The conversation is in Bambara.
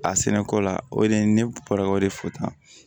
A sɛnɛko la o de ye ne bɔra o de fo tan